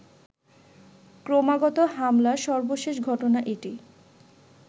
ক্রমাগত হামলার সর্বশেষ ঘটনা এটি